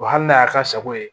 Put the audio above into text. hali n'a y'a ka sago ye